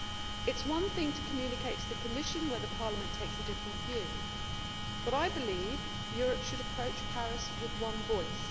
It is one thing to communicate to the Commission whether Parliament takes a different view, but I believe Europe should approach Paris with one voice.